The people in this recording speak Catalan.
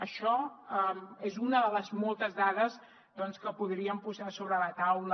això és una de les moltes dades que podríem posar sobre la taula